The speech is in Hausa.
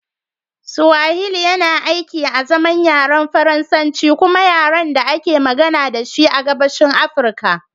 Swahili yana aiki azaman yaren Faransanci kuma yaren da ake magana da shi a Gabashin Afirka